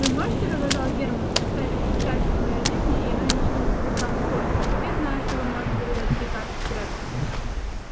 вы можете продолжал германн составить счастие моей жизни и оно ничего не будет вам стоить я знаю что вы можете угадать три карты сряду